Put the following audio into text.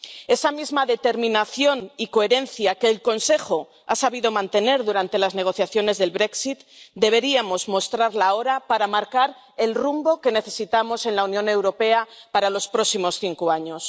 Esa misma determinación y coherencia, que el Consejo ha sabido mantener durante las negociaciones del Brexit deberíamos mostrarla ahora para marcar el rumbo que necesitamos en la Unión Europea para los próximos cinco años.